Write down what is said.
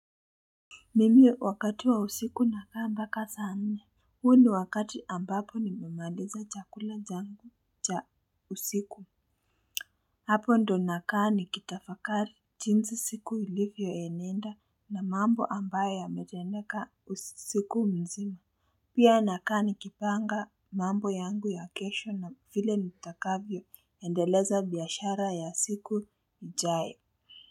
Nimio wakati wa usiku nakaa mbaka sa nne. Huo ndio wakati ambapo nimemaliza chakula jangu cha usiku. Hapo ndo nakaa nikitafakari jinsi siku ilivyoenenda na mambo ambayo yameteneka usiku mzima. Pia nakaa nikipanga mambo yangu ya kesho na vile nitakavyo endeleza biashara ya siku ijaye.